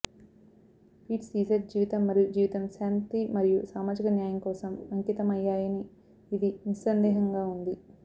Pete Seeger జీవితం మరియు జీవితం శాంతి మరియు సామాజిక న్యాయం కోసం అంకితమయ్యాయని ఇది నిస్సందేహంగా ఉంది